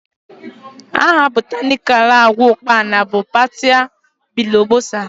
The botanical name of locust bean is partia biglobosa